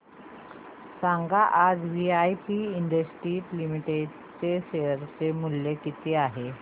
सांगा आज VIP industries limited चे शेअर चे मूल्य किती आहे